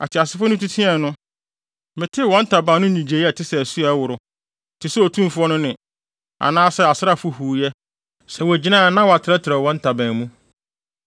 Ateasefo no tu teɛe no, metee wɔn ntaban no nnyigyei a ɛte sɛ asu a ɛworo, te sɛ Otumfo no nne, anaa asraafo huuyɛ. Sɛ wogyina a wɔatrɛtrɛw wɔn ntaban mu.